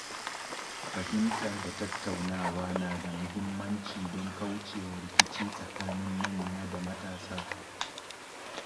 Fahimta da tattaunawa na da muhimmanci don kauce wa rikici tsakanin manya da matasa.